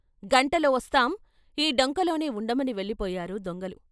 గంటలో వస్తాం ఈ డొంకలోనే ఉండమని వెళ్ళిపోయారు దొంగలు.